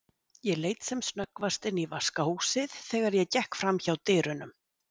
Ég leit sem snöggvast inn í vaskahúsið þegar ég gekk framhjá dyrunum.